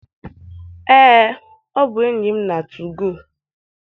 Ee, ọ bụ enyi m na 2go.